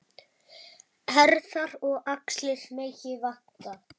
Herðar og axlir megi vanta.